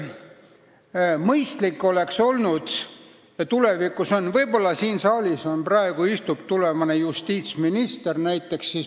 Võib-olla istub siin saalis praegu tulevane justiitsminister.